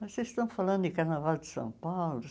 Mas vocês estão falando de carnaval de São Paulo?